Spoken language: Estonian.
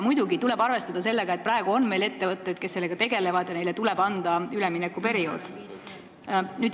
Muidugi tuleb arvestada sellega, et praegu on meil ettevõtteid, kes sellega tegelevad, ja neile tuleb anda üleminekuperiood.